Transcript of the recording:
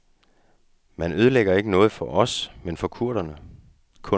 Man ødelægger ikke noget for os, men for kunderne.